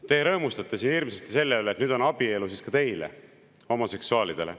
Te rõõmustate siin hirmsasti selle üle, et nüüd on abielu ka teile, homoseksuaalidele.